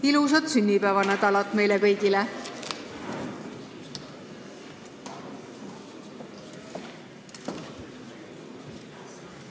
Ilusat sünnipäevanädalat meile kõigile!